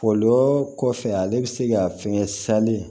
Olu kɔfɛ ale bɛ se ka fɛn sanlen